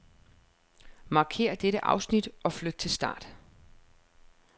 Markér dette afsnit og flyt til start.